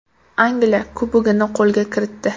Angliya Kubogini qo‘lga kiritdi.